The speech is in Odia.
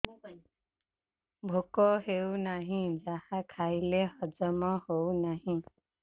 ଭୋକ ହେଉନାହିଁ ଯାହା ଖାଇଲେ ହଜମ ହଉନି